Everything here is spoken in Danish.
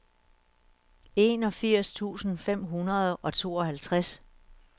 enogfirs tusind fem hundrede og tooghalvtreds